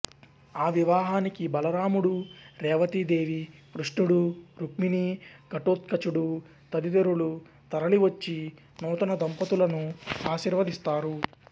ఆ వివాహానికి బలరాముడు రేవతీదేవి కృష్ణుడు రుక్మిణీ ఘటోత్కచుడు తదితరులు తరలివచ్చి నూతన దంపతులను ఆశీర్వదిస్తారు